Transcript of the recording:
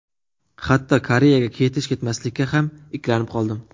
Hatto Koreyaga ketish-ketmaslikka ham ikkilanib qoldim.